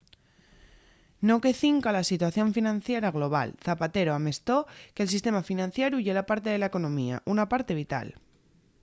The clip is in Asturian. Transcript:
no que cinca a la situación financiera global zapatero amestó que el sistema financieru ye parte de la economía una parte vital